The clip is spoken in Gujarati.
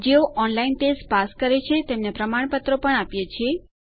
જેઓ ઓનલાઇન ટેસ્ટ પાસ કરે છે તેમને પ્રમાણપત્રો પણ આપીએ છીએ